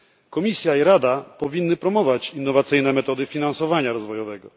Komisja i Rada powinny promować innowacyjne metody finansowania rozwojowego.